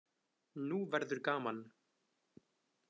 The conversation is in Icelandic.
Nú verður gaman!